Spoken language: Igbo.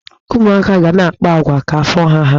Ụmụaka ga na-akpa agwa ka afọ ha há.